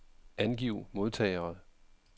Angiv modtagere.